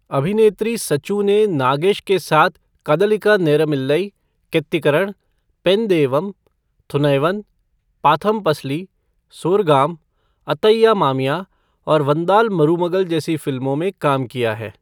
अभिनेत्री सचू ने नागेश के साथ गढ़लिका नेरम इल्लई, केत्तिकरण, पेन देवम, थुनैवन, पाथम पसली, सोरगाम, अथय्या मामिया और वंदा मरूमगल जैसी फिल्मों में काम किया है।